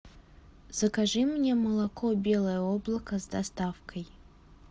закажи мне молоко белое облако с доставкой